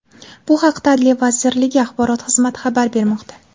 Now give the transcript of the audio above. Bu haqda Adliya vazirligi Axborot xizmati xabar bermoqda .